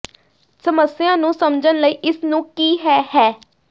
ਸਮੱਸਿਆ ਨੂੰ ਸਮਝਣ ਲਈ ਇਸ ਨੂੰ ਕੀ ਹੈ ਹੈ